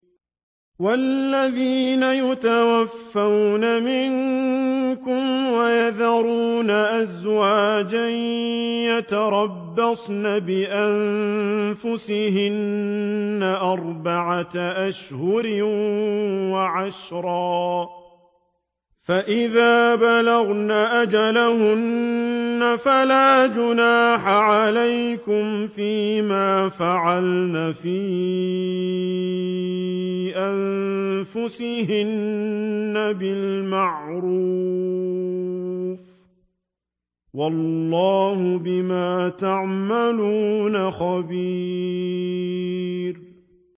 وَالَّذِينَ يُتَوَفَّوْنَ مِنكُمْ وَيَذَرُونَ أَزْوَاجًا يَتَرَبَّصْنَ بِأَنفُسِهِنَّ أَرْبَعَةَ أَشْهُرٍ وَعَشْرًا ۖ فَإِذَا بَلَغْنَ أَجَلَهُنَّ فَلَا جُنَاحَ عَلَيْكُمْ فِيمَا فَعَلْنَ فِي أَنفُسِهِنَّ بِالْمَعْرُوفِ ۗ وَاللَّهُ بِمَا تَعْمَلُونَ خَبِيرٌ